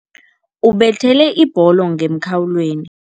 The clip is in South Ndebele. Ubethele ibholo ngemkhawulweni.